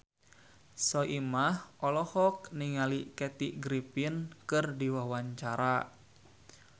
Soimah olohok ningali Kathy Griffin keur diwawancara